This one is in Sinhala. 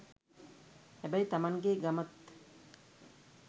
හැබැයි තමන්ගෙ ගමත්